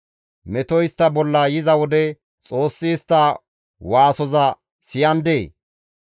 Metoy istta bolla yiza wode Xoossi istta waasoza siyandee?